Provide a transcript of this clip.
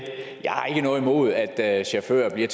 noget imod at chauffører bliver